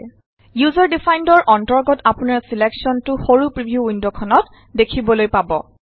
user ডিফাইন্দৰ অন্তৰ্গত আপোনাৰ ছিলেকশ্যনটো সৰু প্ৰিভিউ ৱিণ্ডখনত দেখিবলৈ পাব